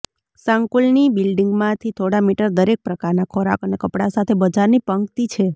સંકુલની બિલ્ડિંગમાંથી થોડા મીટર દરેક પ્રકારના ખોરાક અને કપડાં સાથે બજારની પંક્તિ છે